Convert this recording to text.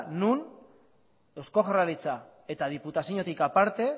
non eusko jaurlaritza eta diputazioetatik aparte